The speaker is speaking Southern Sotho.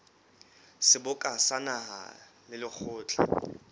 seboka sa naha le lekgotla